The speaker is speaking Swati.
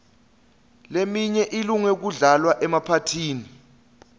leminye ilunge kudlalwa emaphathini